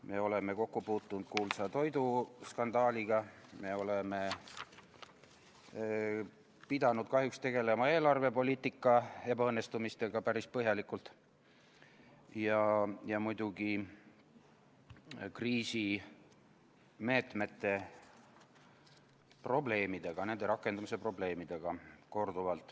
Me oleme kokku puutunud kuulsa toiduskandaaliga, me oleme pidanud kahjuks päris põhjalikult tegelema eelarvepoliitika ebaõnnestumistega ja muidugi korduvalt kriisimeetmete rakendumise probleemidega.